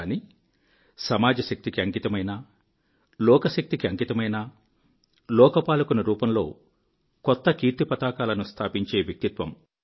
కానీ సమాజ శక్తికి అంకితమైన లోకశక్తికి అంకితమైన లోకపాలకుని రూపంలో కొత్తకీర్తిపతాకాలను స్థాపించే వ్యక్తిత్వం